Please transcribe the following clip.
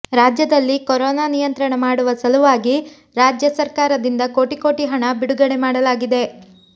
ರಾಜ್ಯದಲ್ಲಿ ಕೊರೋನಾ ನಿಯಂತ್ರಣ ಮಾಡುವ ಸಲುವಾಗಿ ರಾಜ್ಯ ಸರ್ಕಾರದಿಂದ ಕೋಟಿ ಕೋಟಿ ಹಣ ಬಿಡುಗಡೆ ಮಾಡಲಾಗಿದೆ